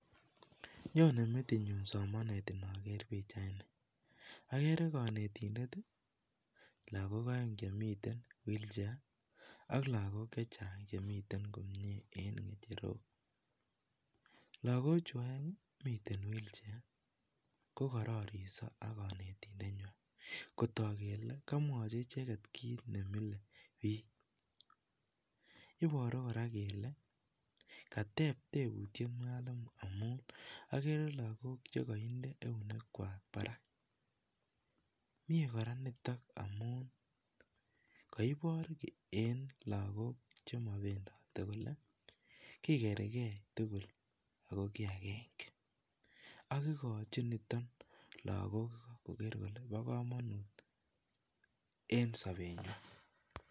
Nyone metitnyu somanet inaker pichait ni. Agere kanetidet, ak lagok aeng' che miten wheelchair, ak lagok chechang' che miten komye en ng'echerok. Lagok chu aeng' miten wheelchair, kokarariso ak kanetindetnywa. Kotog kele, kamwachi icheket kit ne mileiy biik. Iboru kora kele, kateb tebutiet mwalimu, amun agere lagok che kainde eunekwak barak. Mie kora nitok amu kaibor eng' lagok che mabendati kole kikergeiy tugul ago kiy ageng'e . Akokochin niton lagok koger kole bo komonut eng' sobet nywan.